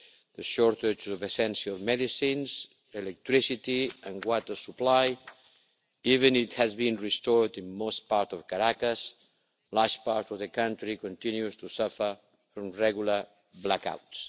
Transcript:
The shortage of essential medicines, electricity and water supply even if it has been restored in most parts of Caracas a large part of the country continues to suffer from regular blackouts.